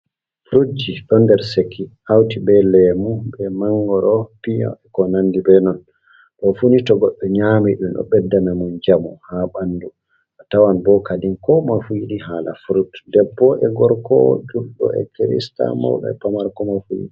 Furutji ɗon nder seki, hauti be lemu be mangoro, piya e ko nandi be non. do funi togoɗɗo nyami ɗum o beddanamo mo njamu ha ɓandu, a tawan bo kadin ko moye fu yiɗi hala furut, debbo e gorko julɗo e kirista, mawɗo e pamaro ko moye fu yiɗi.